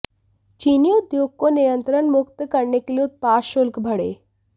चीनी उद्योग को नियंत्रण मुक्त करने के लिए उत्पाद शुल्क बढ़े